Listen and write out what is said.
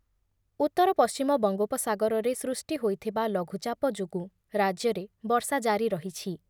ଉତ୍ତର ପଶ୍ଚିମ ବଙ୍ଗୋପସାଗରରେ ସୃଷ୍ଟି ହୋଇଥିବା ଲଘୁଚାପ ଯୋଗୁଁ ରାଜ୍ୟରେ ବର୍ଷା ଜାରି ରହିଛି ।